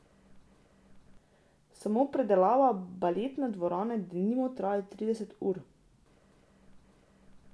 Samo predelava baletne dvorane, denimo, traja trideset ur.